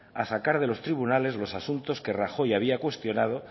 a sacar de los tribunales los asuntos que rajoy había cuestionado